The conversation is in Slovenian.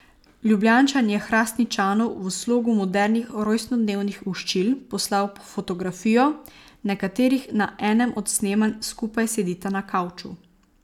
Ljubljančan je Hrastničanu v slogu modernih rojstnodnevnih voščil poslal fotografijo, na kateri na enem od snemanj skupaj sedita na kavču.